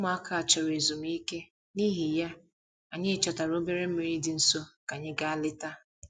Ụmụaka chọrọ ezumike, n'ihi ya, anyị chọtara obere mmiri dị nso ka anyị gaa leta